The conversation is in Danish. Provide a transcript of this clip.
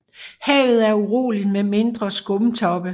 Havet er uroligt med mindre skumtoppe